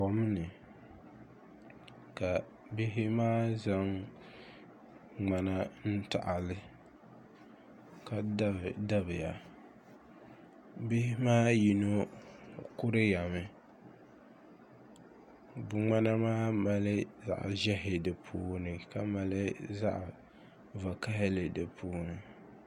Kom ni ka bihi maa zaŋ ŋmana n yaɣili ka dabi dabi ya bihi maa yino kuriya mi ni ŋmana maa mali zaɣi ʒehi di puuni ka mali zaɣi vakahali di puuni.